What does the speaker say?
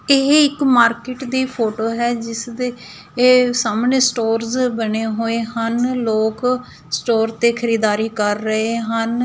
ਇਹ ਇੱਕ ਮਾਰਕੀਟ ਦੀ ਫੋਟੋ ਹੈ ਜਿਸਦੇ ਇਹ ਸਾਹਮਣੇ ਸਟੋਰਜ ਬਣੇ ਹੋਏ ਹਨ ਲੋਕ ਸਟੋਰ ਤੇ ਖਰੀਦਦਾਰੀ ਕਰ ਰਹੇ ਹਨ।